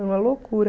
É uma loucura.